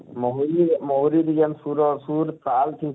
ମହୁରୀ ମହୁରୀ ଜେନ ସୁର ସୁର ତାଲ ଥିସି,